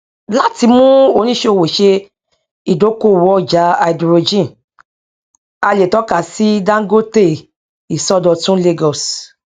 láti mú oníṣòwò ṣe idokóòwò ọjà háídírójìn a lè tọka sí dangote ìsọdọtun lagos